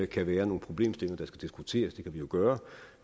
kan være nogle problemstillinger der skal diskuteres det kan vi jo gøre